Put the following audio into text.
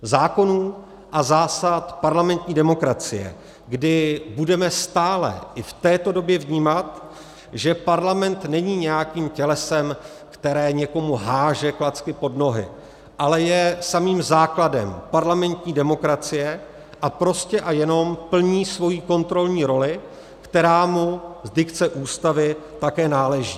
Zákonů a zásad parlamentní demokracie, kdy budeme stále i v této době vnímat, že Parlament není nějakým tělesem, které někomu hází klacky pod nohy, ale je samým základem parlamentní demokracie a prostě a jenom plní svoji kontrolní roli, která mu z dikce Ústavy také náleží.